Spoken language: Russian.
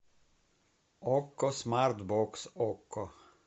окко смарт бокс окко